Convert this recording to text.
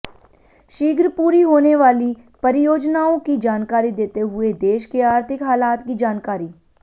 शीघ्र पूरी होने वाली परियोजनाओं की जानकारी देते हुए देश के आर्थिक हालात की जानकारी